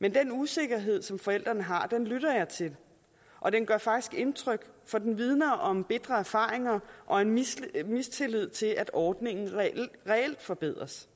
men den usikkerhed som forældrene har lytter jeg til og den gør faktisk indtryk for den vidner om bitre erfaringer og en mistillid mistillid til at ordningen reelt forbedres